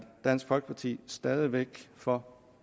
dansk folkeparti stadig væk for